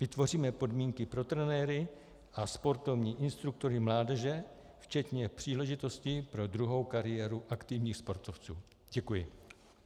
Vytvoříme podmínky pro trenéry a sportovní instruktory mládeže včetně příležitosti pro druhou kariéru aktivních sportovců." Děkuji.